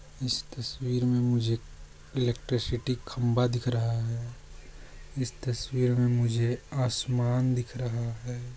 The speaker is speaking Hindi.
इस तस्वीर मे मुझे एलेक्ट्रिसीटी खंबा दिख रहा है इस तस्वीर मे मुझे आसमान दिख रहा है।